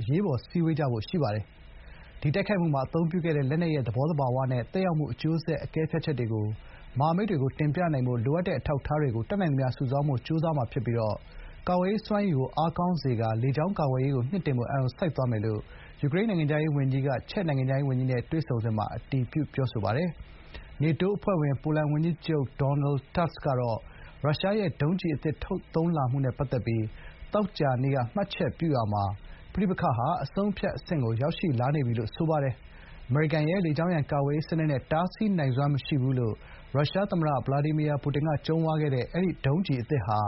အရေးပေါ် စည်းဝေးကြမယ့် အကြောင်း အတည်ပြုပါတယ်။ “ဒီတိုက်ခိုက်မှုမှာ အသုံးပြုခဲ့တဲ့ လက်နက်ရဲ့ သဘောသဘာဝနဲ့ သက်ရောက်မှု အကျိုးဆက် အကဲဖြတ်ချက်တွေကို မဟာမိတ်တွေကိုတင်ပြနိုင်ဖို့ လိုအပ်တဲ့ အထောက်အထားတွေကို တတ်နိုင်သမျှ စုဆောင်းဖို့ ကြိုးစားမှာ ဖြစ်ပြီး ကာကွယ်ရေးစွမ်းရည်ကို အားကောင်းစေကာ လေကြောင်းကာကွယ်ရေးကို မြှင့်တင်ဖို့ အာရုံစိုက်သွားမှာ” ဖြစ်ကြောင်း Sybiha က ပြောပါတယ်။ နေတိုး အဖွဲ့ဝင် ပိုလန်ဝန်ကြီးချုပ် ဒေါ်နယ် တာ့စ် Donald Tusk ကတော့ ရုရှားရဲ့ ဒုံးကျည် အသစ် ထုတ်သုံးလာမှုနဲ့ ပတ်သက်ပြီး သောကြာနေ့က မှတ်ချက်ပြုရာမှာ ပဋိပက္ခဟာ “အဆုံးအဖြတ်အဆင့်ကို ရောက်ရှိလာနေပြီ” လို့ ဆိုထားပါတယ်။ အမေရိကန်ရဲ့ လေကြောင်းရန်ကာကွယ်ရေး စနစ်နဲ့ တားဆီးနိုင်စွမ်း မရှိဘူးလို့ ရုရှား သမ္မတ ဗလာဒီမီယာပူတင်က ကြုံးဝါးခဲ့တဲ့ ဒီ ဒုံးကျည် အသစ်ဟာ